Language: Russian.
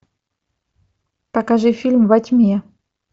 покажи фильм во тьме